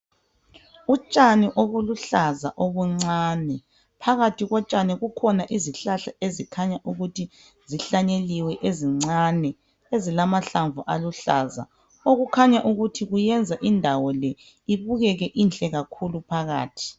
Utshani obuluhlaza obuncane phakathi kotshani kukhona izihlahla ezikhanya ukuthi zihlanyeliwe ezincane ezilamahlanvu aluhlaza okukhanya ukuthi kuyenza indawo le ibukeke ihle kakhulu phakathi .